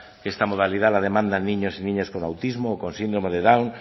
que esta modalidad la demandan niños y niñas con autismo o con síndrome de down